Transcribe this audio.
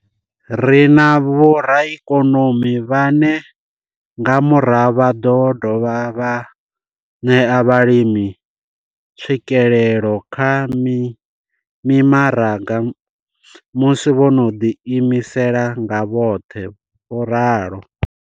Ri na vhoraikonomi vhane nga murahu vha ḓo dovha vha ṋea vhalimi tswikelelo kha mimaraga musi vho no ḓiimisa nga vhoṱhe vho ralo.